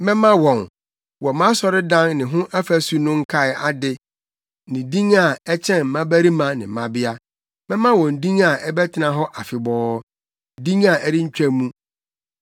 mɛma wɔn, wɔ mʼasɔredan ne ho afasu no nkae ade ne din a, ɛkyɛn mmabarima ne mmabea; mɛma wɔn din a ɛbɛtena hɔ afebɔɔ din a ɛrentwa mu.